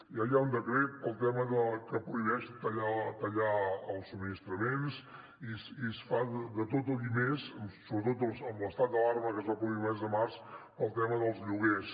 ja hi ha un decret pel tema que prohibeix tallar els subministraments i es fa de tot i més sobretot amb l’estat d’alarma que es va produir el mes de març pel tema dels lloguers